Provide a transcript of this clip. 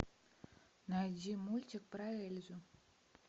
найди мультик про эльзу